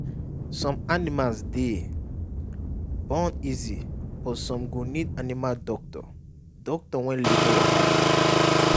some animals dey born easy but some go need animal doctor doctor when labour wahala too much